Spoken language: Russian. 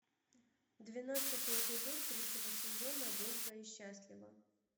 двенадцатый эпизод третьего сезона долго и счастливо